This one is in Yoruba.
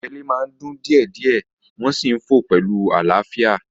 Àwọn ẹyẹlé máa ń dún díẹ̀ díẹ̀ wọ́n sì ń fò pẹ̀lú àlàáfíà